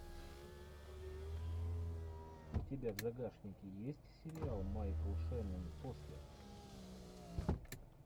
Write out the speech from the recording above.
у тебя в загашнике есть сериал майкл шеннон после